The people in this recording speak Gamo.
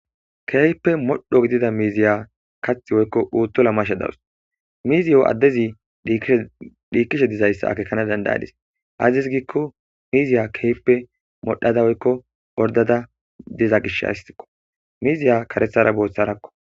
Keeyppe modho gidida miiziya kath woykko uuttola mashe dawus miizi yo addezi dhiikkishe dizayssa akekana dandayadis azis giikko miiziya keeppe modhada woykko ordada diza gish haistikko miiziya karethara booththarakko